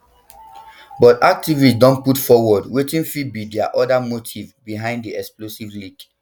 but activists don put forward wetin fit be dia oda motives behind di explosive leak